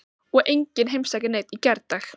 Og enginn heimsækir neinn í gærdag.